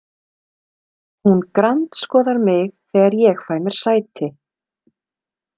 Hún grandskoðar mig þegar ég fæ mér sæti.